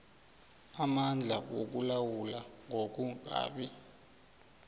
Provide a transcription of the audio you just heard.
amandla wokulawula ngokungabi